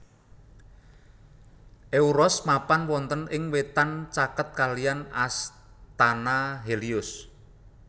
Euros mapan wonten ing wetan caket kalihan astana Helios